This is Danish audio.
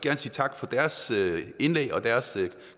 at sige tak for deres indlæg og deres